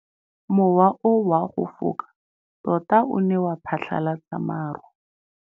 Mowa o wa go foka tota o ne wa phatlalatsa maru.